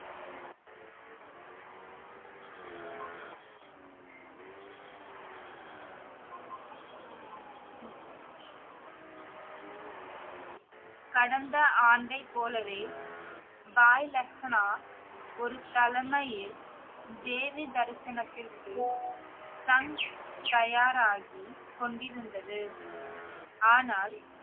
கடந்த ஆண்டைப் போலவே பாய் லெஹனா ஒரு தலைமையில் தேவி தரிசனத்திற்கு தன்~ தயாராகிக் கொண்டிருந்தது ஆனால்